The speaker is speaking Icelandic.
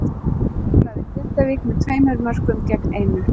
Þróttur lagði Grindavík með tveimur mörkum gegn einu.